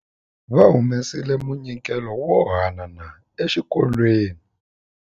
Va humesile munyikelo wo haanana exikolweni.